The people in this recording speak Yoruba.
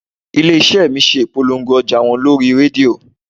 Ilé iṣẹ́ mi ṣe ìpolongo ọjà wọn lórí rédíò